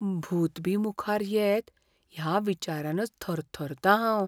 भूत बी मुखार येत ह्या विचारानच थरथरतां हांव.